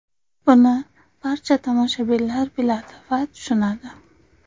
Buni barcha tomoshabinlar biladi va tushunadi.